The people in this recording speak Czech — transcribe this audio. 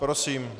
Prosím.